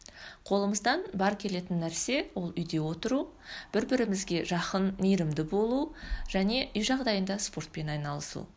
қолымыздан бар келетін нәрсе ол үйде отыру бір бірімізге жақын мейірімді болу және үй жағдайында спортпен айналысу